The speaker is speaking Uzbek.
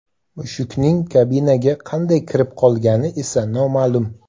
Mushukning kabinaga qanday kirib qolgani esa noma’lum.